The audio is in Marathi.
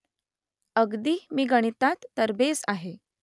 अगदी मी गणितात तरबेज आहे